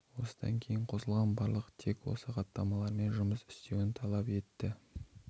осыдан кейін қосылған барлық тек осы хаттамалармен жұмыс істеуін талап етті